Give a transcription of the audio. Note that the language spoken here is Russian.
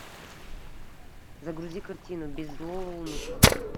загрузи картину без злого умысла